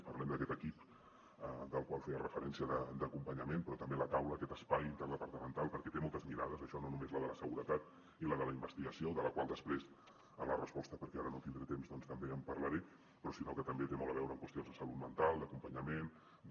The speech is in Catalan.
parlem d’aquest equip al qual feia referència d’acompanyament però també de la taula aquest espai interdepartamental perquè té moltes mirades això no només la de la seguretat i la de la investigació de la qual després en la resposta perquè ara no tindré temps també en parlaré sinó que també té molt a veure amb qüestions de salut mental d’acompanyament de